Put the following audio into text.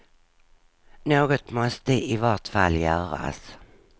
Något måste i vart fall göras.